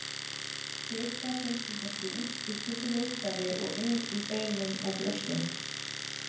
Fita finnst undir húð, í kringum líffæri og inni í beinum og brjóstum.